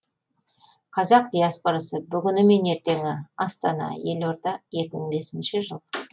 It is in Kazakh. қазақ диаспорасы бүгіні мен ертеңі астана елорда екі мың бесінші жыл